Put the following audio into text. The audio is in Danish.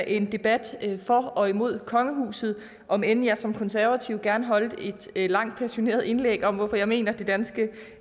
en debat for og imod kongehuset om end jeg som konservativ gerne holdt et langt passioneret indlæg om hvorfor jeg mener at det danske